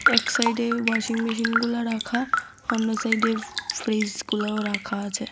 এক সাইডে ওয়াশিংমেশিনগুলা রাখা অন্য সাইডে ফ্রিজগুলাও রাখা আছে।